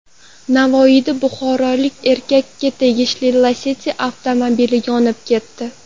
Navoiyda buxorolik erkakka tegishli Lacetti avtomobili yonib ketdi .